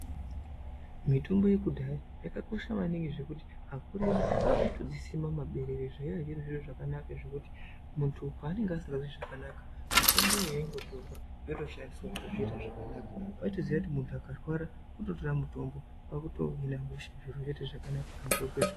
Mitombo ye kudhaya yaka kosha maningi zvekuti akuru edu aitodzi sima mu maberere zvaive zviri zviro zvakanaka zvekuti muntu pa anenge asingazwi zvakanaka mitombo yo yaingo torwa yoto shandiswa kuita zviro zvakanaka waitoziya kuti muntu akarwara kuto tora mutombo kwakuto hina hosha antu ozwe zvakanaka.